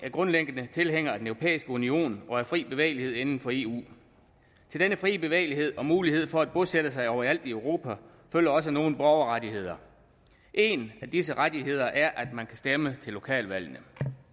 grundlæggende tilhængere af den europæiske union og af fri bevægelighed inden for eu til denne frie bevægelighed og mulighed for at bosætte sig overalt i europa følger også nogle borgerrettigheder en af disse rettigheder er at man kan stemme til lokalvalgene